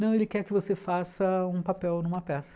Não, ele quer que você faça um papel numa peça.